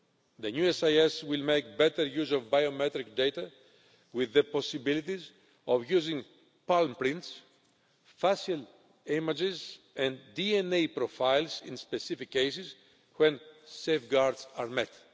The new SIS will make better use of biometric data, with the possibilities of using palm prints, facial images and DNA profiles in specific cases, when safeguards are met.